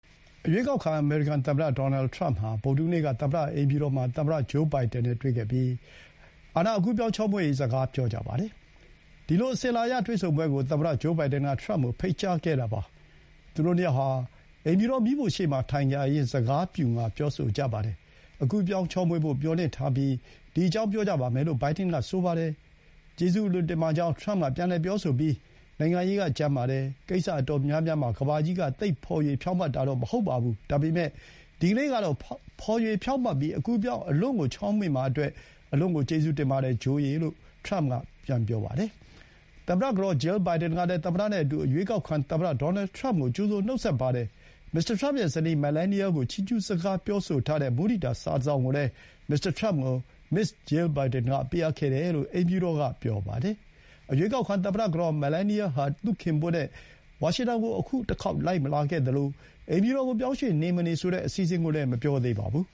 ရွေးကောက်ခံ အမေရိကန် သမ္မတ ဒေါ်နယ်ထရမ့် ဟာ ဗုဒ္ဓဟူးနေ့က သမ္မတ အိမ်ဖြူတော်မှာ သမ္မတ ဂျိုးဘိုင်ဒန် နဲ့ တွေ့ခဲ့ပြီး အကူးအပြောင်း ချောမွေ့ရေး စကား ပြောကြပါတယ်။ ဒီလို အစဥ်အလာအရ တွေ့ဆုံပွဲကို သမ္မတ ဂျိုးဘိုင်ဒန် က ထရမ့်ကို ဖိတ်ကြားခဲ့တာပါ။ သူတို့ နှစ်ယောက်ဟာ အိမ်ဖြူတော် မီးဖိုရှေ့မှာ ထိုင်ကြရင်း စကား ပျူငှါ ပြောဆိုကြပါတယ်။ အကူးအပြောင်း ချောမွေ့ဖို့ မျှော်လင့်ထားပြီး ဒီအကြောင်း ပြောကြပါမယ်လို့ ဘိုင်ဒန်က ပြောခဲ့ပါတယ်။ ကျေးဇူးအလွန်တင်ပါကြောင်း ထရမ့်က ပြန်လည် ပြောဆိုပြီး၊ နိုင်ငံရေး က ကြမ်းပါတယ်၊ ကိစ္စအတော်များများမှာ ကမ္ဘာကြီးက သိပ်ဖော်ရွေ ဖြောင့်မတ်တာတော့ မဟုတ်ပါဘူး၊ ဒါပေမဲ့ ဒီကနေ့ကတော့ ဖော်ရွေဖြောင့်မတ်ပြီး အကူးအပြောင်း အလွန့်ကို ချောမွေ့မှာအတွက် အလွန့်ကို ကျေးဇူးတင်ပါတယ် ဂျိုး လို့ ထရမ့် က ပြန်ပြောပါတယ်။ သမ္မတ ကတော် Jill Biden ကလည်း သမ္မတနဲ့အတူ အရွေးကောက်ခံ သမ္မတ ဒေါ်နယ်ထရမ့်ကို ကြိုဆိုနှုတ်ဆက်ပါတယ်။ မစ္စတာ ထရမ့်ရဲ့ ဇနီး Melania ကို ချီးကျူးစကား ပြောဆိုထားတဲ့ မုဒိတာ စာတစောင်ကိုလည်း မစ္စတာ ထရမ့်ကို မစ္စ Jill Biden က ပေးအပ်ခဲ့တယ်လို့ အိမ်ဖြူတော်က ပြောပါတယ်။ ရွေးကောက်ခံ သမ္မတ ကတော် Melania ဟာ သူ့ခင်ပွန်းနဲ့ ဝါရှင်တန်ကို အခု လိုက်မလာခဲ့သလို၊ အိမ်ဖြူတော်ကို ပြောင်းရွှေ့နေ၊ မနေဆိုတဲ့ အစီအစဥ်ကိုလည်း မပြောသေးပါဘူး